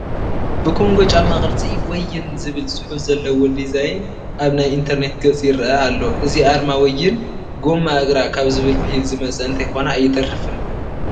ብኮንጐ ጫማ ቅርፂ ወይን ዝብል ፅሑፍ ዘለዎ ዲዛይን ኣብ ናይ ኢንተርኔት ገፅ ይርአ ኣሎ፡፡ እዚ ኣርማ ወይን ጐማ እግራ ካብ ዝብል ብሂል ዝመፀ እንተይኮነ ኣይተርፍን፡፡